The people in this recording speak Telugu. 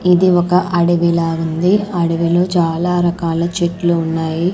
ఇది ఒక అడవిలా ఉంది అడవిలో చాలా రకాల చెట్లు ఉన్నాయి.